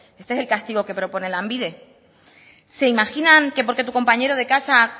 este es el castigo que propone lanbide se imaginan que porque tu compañero de casa